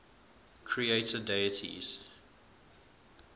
creator deities